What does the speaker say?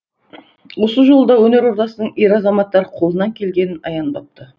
осы жолы да өнер ордасының ер азаматтары қолынан келгенін аянбапты